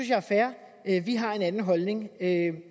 jeg er fair vi har en anden holdning